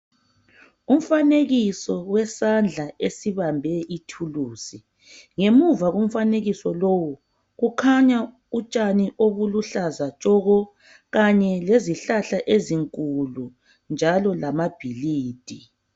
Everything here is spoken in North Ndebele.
Umfanekiso wesandla esibambe ithuluzi ngemuva komfanekiso lowu kukhanya utshani obuluhlaza tshoko kanye lezihlahla ezinkulu njalo lama bhilidi.